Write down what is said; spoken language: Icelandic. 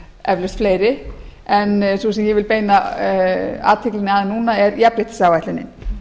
eflaust fleiri en sú sem ég vil beina athyglinni að núna er jafnréttisáætlunin